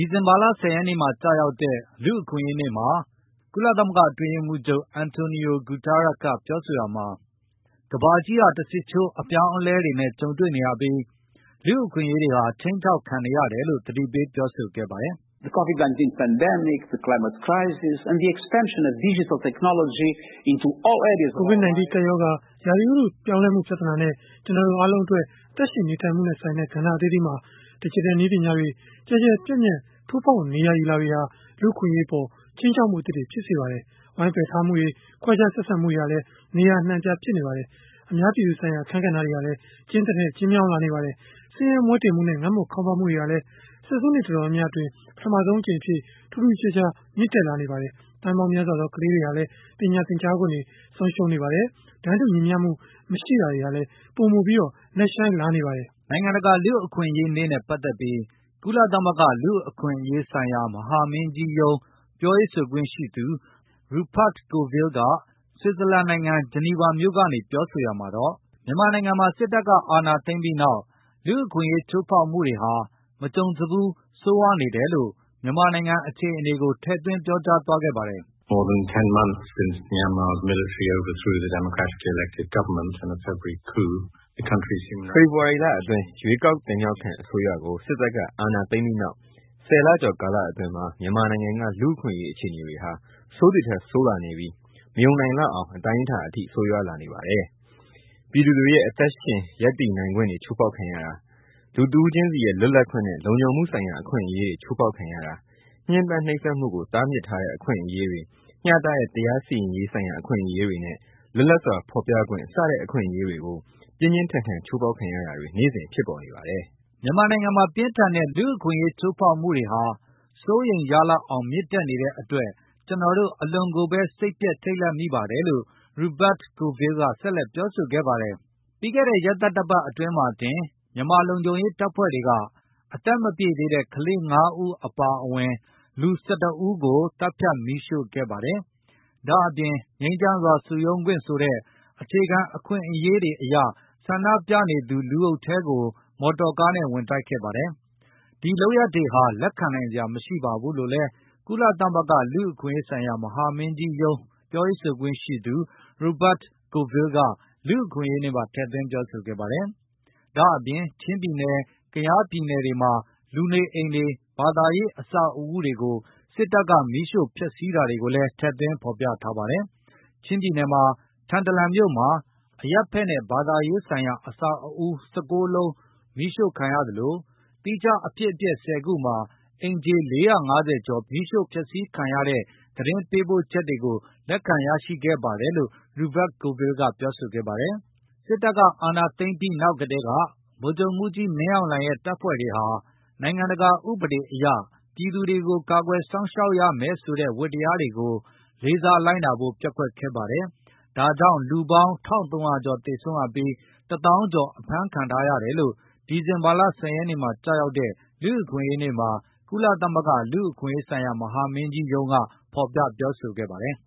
ီဇင်ဘာလ ၁၀ ရက်နေ့မှာ ကျရောက်တဲ့ လူ့အခွင့်အရေးနေ့မှာ ကုလသမဂ္ဂ အတွင်းရေးမှုးချုပ် Antonio Guterres က ပြောဆိုရာမှာ ကမ္ဘာကြီးဟာတဆစ်ချိုးအပြောင်းအလဲတွေနဲ့ကြုံံတွေနေရ ပြီးလူ့အခွင့်အရေးတွေဟာခြိမ်းခြောက်ခံနေရတယ်လို့သတိပေးပြောဆိုခဲ့ပါတယ်။ “ကိုဗစ် ၁၉ ကပ်ရောဂါ၊ ရာသီဥတုအပြောင်းလဲလာမှုပြဿနာနဲ့ ကျနော်တို့အားလုံးရဲ့ အသက် ရှင်နေထိုင်မှုနဲ့ဆိုင်တဲ့ ကဏ္ဍအသီးသီးမှာ ဒယ်ဂျစ်တယ်နည်းပညာတွေ ကျယ်ကျယ် ပြန့်ပြန့် ထိုးဖေါက်နေရာယူလာတာတွေဟာ လူ့အခွင့်အရေးအပေါ်မှာ ခြိမ်းခြောက်မှုအသစ်တွေကို ဖြစ်ပေါ်စေပါတယ်။ ဝိုင်းပါယ်ထားမှုတွေ၊ခွဲခြားဆက်ဆံမှုတွေ ဟာလည်းနေရာအနှံအများ အပြားဖြစ်ပေါ်နေပါတယ်။ အများပြည်သူဆိုင်ရာ အခန်းကဏ္ဍဟာ ကျဉ်းသည်ထက်ကျဉ်းလာ နေပါတယ်။ ဆင်းရဲမွဲတေမှုနဲ့ ငတ်မွတ်ခေါင်းပါးမှုတွေဟာလည်း ဆယ်ဆုနှစ်အတော်များများ အတွင်းပထမဆုံးအကြိမ်အဖြစ်ထူးထူးခြားခြားမြင့်တက်နေပါတယ်။ သန်းပေါင်းများစွာသော ခလေးငယ်တွေဟာ ပညာသင်ကြားခွင့်ဆုံးရှုံးနေပါတယ်။ တန်းတူညီမျှမှုမရှိတာတွေဟာလည် ပိုမိုနက်ရှိုင်းလာနေပါတယ်” နိုင်ငံတကာလူ့အခွင့်အရေးနေ့နဲ့ပတ်သက်ပြီး ကုလသမဂ္ဂလူ့အခွင့်အရေး ဆိုင်ရာမဟာမင်းကြီးရုံးပြောရေးဆိုခွင့်ရှိသူRupert Colville က ဆွစ်ဇာလန် နိုင်ငံ ဂျနီဗာမြို့ကနေ ပြောဆိုရာမှာတော့။ မြန်မာနိုင်ငံမှာ စစ်တပ်ကအာဏာသိမ်းပြီးနောက် လူ့အခွင့်အရေးချိုးဖေါက်မှုတွေဟာ မကြုံစဖူးဆိုးဝါးနေတယ်လို့ မြန်မာနိုင်ငံအခြေအနေကိုထည့်သွင်းပြောကြားသွားခဲ့ပါတယ်။ “ဖေဖေါ်ဝါရီလအတွင်း ရွေးကောက်ခံအစိုးရကို စစ်တပ်ကအာဏာသိမ်းပြီးနောက် ၁၀ ကျော်ကာလအတွင်း မြန်မာနိုင်ငံကလူ့အခွင့်အရေးအခြေအနေတွေဟာ ဆိုးသည်ထက်ဆိုးလာနေပြီး မယုံနိုင်လောက်တဲ့ အတိုင်းအတာအထိဆိုးရွားလာနေပါတယ်။ ပြည်သူတွေ ရဲ့အသက်ရှင်ရပ်တည်နိုင်ခွင့်တွေချိုးဖေါက်ခံရတာ၊ လူတဦးခြင်းစီရဲ့လွတ်လပ်ခွင့်နဲ့ လုံခြုံမှုဆိုင်ရာအခွင့်အရေးတွေချိုးဖေါက်ခံရတာ၊ ညှင်းပန်းနှိပ်စက်မှုကိုတားမြစ်ထားတဲ့အခွင့် အရေးတွေ၊ မျှတတဲ့တရားစီရင်ရေးဆိုင်ရာအခွင့်အရေးတွေနဲ့ လွတ်လပ်စွာဖေါ်ပြခွင့်စတဲ့ အခွင့်အရေးတွေကို ပြင်းပြင်းထန်ထန် ချိုးဖေါက်ခံရတာတွေနေ့စဉ်ဖြစ်ပေါ်နေပါတယ်။” မြန်မာနိုင်ငံမှာပြင်းထန်တဲ့လူ့အခွင့်အရေးချိုးဖေါက်မှု တွေကို စိုးရိမ်ရလောက်အောင်မြင်တက်နေတဲ့ အတွက်ကျနော်တို့ အလွန်ကိုဘဲစိတ်ပျက်ထိတ်လန့်မိပါတယ် လို့ Rupert Colville ကဆက်လက် ပြောဆိုခဲ့ပါတယ်။ ဒီသီတင်းပတ် အစောပိုင်းမှာပဲ စစ်ကိုင်းတိုင်း ဆားလင်းကြီးမြို့နယ်မှာ မြန်မာလုံခြုံရေးတပ်ဖွဲ့တွေက အရွယ်မရောက်သေးသူ ၅ ဦးအပါအဝင်လူ ၁၁ ဦးကို သတ်ဖြတ်မီးရှို့ခဲ့တာ ရန်ကုန်မြို့မှာ ငြိမ်းချမ်းစွာ ဆန္ဒပြနေသူ လူအုပ်ထဲကို မော်တော်ကားနဲ့ ဝင်တိုက်ခဲ့တာတွေဟာ လက်ခံနိုင်စရာမရှိဘူးလို့လည်း ကုလသမဂ္ဂလူ့အခွင့် အရေးဆိုင်ရာမဟာမင်းကြီးရုံး ပြောရေးဆိုခွင့်ရှိသူ Rupert Colviflle က လူအခွင့်ရေးနေ့မှာ ထည့်သွင်းပြောဆိုခဲ့သလို၊ ချင်းပြည်နယ်၊ကယားပြည်နယ်တွေမှာ လူနေအိမ်တွေ၊ ဘာသာရေး အဆောက်အဦး တွေကို စစ်တပ်ကမီးရှိုဖျက်စီးတာတွေကိုလည်း ထည့်သွင်းဖေါ်ပြထားပါတယ်။ ချင်းပြည်နယ်မှာ ထန်တလန်မြို့မှာ အရပ်ဖက်နဲ့ ဘာသာရေးဆိုင်ရာအဆောက်အဦး ၁၉ ခုမီးရှို့ခံရသလို၊ သီးခြားအဖြစ်အပျက် ၁၀ ခုမှာ အိမ်ခြေ ၄၅၀ ကျော်ဖျက်စီးခံရတဲ့ သတင်း ပေးပို့ချက်တွေကိုလက်ခံရရှိခဲ့တယ်လို့ Ruper Coviflle ကပြောဆိုပါတယ်။ စစ်တပ်ကအာဏာသိမ်းပြီးနောက်ကတည်းက ဗိုလ်ချုပ်မှုးကြီးမင်းအောင်လှိုင် ရဲ့ တပ်ဖွဲ့ တွေဟာ နိုင်ငံတကာအဥပဒေတွေအရ ပြည်သူတွေကိုကာကွယ်စောင့်ရှောက်ရမယ်ဆိုတဲ့ ဝတ္တရားတွေကိုလေစားလိုက်နာဖို့ပျက်ကွက်ခဲ့ပါတယ်။ ဒါကြောင့် လူပေါင်း ၁၃၀၀ ကျော်သေ ဆုံးရပြီး လူ ၁ သောင်းကျော်အဖမ်းခံထားရတယ်လို့ ဒီဇင်ဘာလ ၁၀ ရက်နေ့မှာကျ ရောက်တဲ့ လူ့အခွင့်အရေးနေ့မှာ ကုလသမဂ္ဂလူ့အခွင့်အရေးမဟာမင်းကြီးရုံးကဖေါ်ပြပြောဆိုခဲ့ပါတယ်။